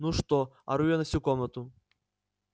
ну что ору я на всю комнату